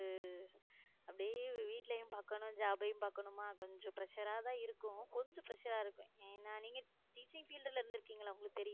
நமக்கு அப்படியே வீட்டுலயும் பார்க்கணும் job யும் பாக்கணும ஆனா கொஞ்சம் pressure ஆ தான் இருக்கும் கொஞ்சம் pressure ஆ இருக்கும் ஏன்னா நீங்க teaching field ல இருந்திருக்கீங்களா உங்களுக்கு தெரி~